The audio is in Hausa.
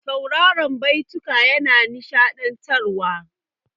Sauraran baituka yana nishaɗantarwa.